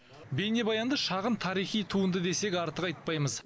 бейнебаянды шағын тарихи туынды десек артық айтпаймыз